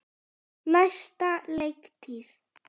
Næsta leiktíð?